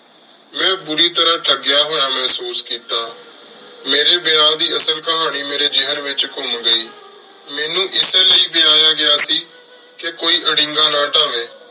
ਮੇਂ ਬੁਰੀ ਤਰ੍ਹਾ ਥਾਗ੍ਯ ਹੋਯਾ ਮੇਹ੍ਸੂਸ ਕੀਤਾ ਮੇਰੀ ਵਿਆਹ ਦੀ ਅਸਲ ਕਹਾਨੀ ਮੇਰੀ ਜੇਹਨ ਵਿਚ ਕੁਮ ਗਈ ਮੇਨੂ ਏਸੀ ਲੈ ਵੇਯਾਯਾ ਗਯਾ ਸੀ ਕੋਈ ਅਰੀੰਗਾ ਨਾ ਤਾਵੀ